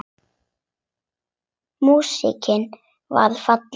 Músíkin varð falleg.